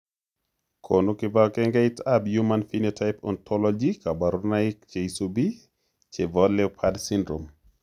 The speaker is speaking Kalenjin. Konu kibagengeitab human phenotype ontology kaborunoik cheisubi chebo leopard syndrome.